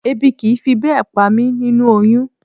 Ebi kì í fi bẹ́ẹ̀ pa mí nínú oyún